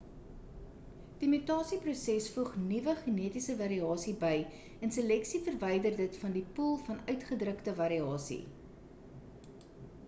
die mutasieproses voeg nuwe genetiese variasie by en seleksie verwyder dit van die poel van uitgedrukte variasie